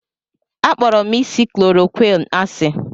Akpọrọ m isi chloroquine asị.